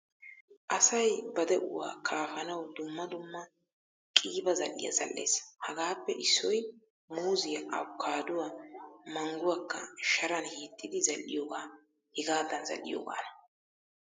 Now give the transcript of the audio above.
Asay ba de'uwaa kaafaanawu dumma dumma qiiba zal'iyaa zal'ees. Hagaappe issoy muuzziyaa , appokaduwa, mangguwaka sharan hiixxidi zal'iyoga hegadan zal'iyogana.